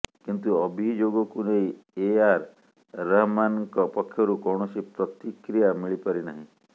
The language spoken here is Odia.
କିନ୍ତୁ ଅଭିଯୋଗକୁ ନେଇ ଏଆର ରହମାନ୍ଙ୍କ ପକ୍ଷରୁ କୌଣସି ପ୍ରତିକ୍ରିୟା ମିଳିପାରିନାହିଁ